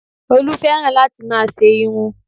Olú fẹ́ràn láti máa ṣe irun